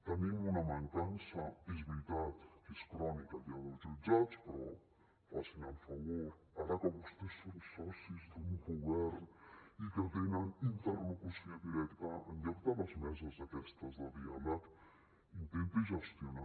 tenim una mancança és veritat que és crònica ja dels jutjats però facin el favor ara que vostès són socis d’un govern i que tenen interlocució directa en lloc de les meses aquestes de diàleg intentin gestionar